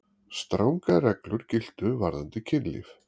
Strangar reglur giltu varðandi kynlíf.